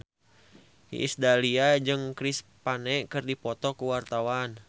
Iis Dahlia jeung Chris Pane keur dipoto ku wartawan